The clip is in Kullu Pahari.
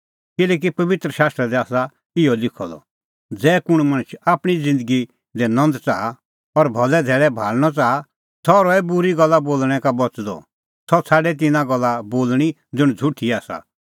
किल्हैकि पबित्र शास्त्रा दी आसा इहअ लिखअ द ज़ै कुंण मणछ आपणीं ज़िन्दगी दी नंद च़ाहा और भलै धैल़ै भाल़णअ च़ाहा सह रहै बूरी गल्ला बोल़णैं का बच़दअ सह छ़ाडै तिन्नां गल्ला बोल़णीं ज़ुंण झ़ुठी आसा